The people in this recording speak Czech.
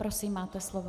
Prosím, máte slovo.